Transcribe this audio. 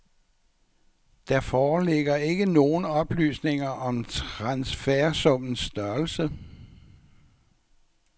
Der foreligger ikke nogen oplysninger om transfersummens størrelse.